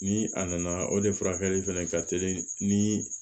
Ni a nana o de furakɛli fɛnɛ ka teli ni